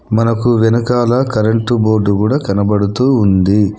మనకు వెనకాల current board కూడా కనబడుతూ ఉంది.